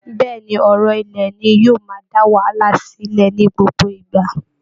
Bẹ́ẹ̀ ni, ọ̀rọ̀ ilẹ̀ ni yóò máa dá wàhálà sílẹ̀ ní gbogbo ìgbà